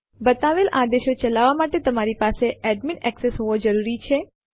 બતાવેલ આદેશો ચલાવવા માટે તમારી પાસે એડમીન એક્સેસ હોવો જરૂરી છે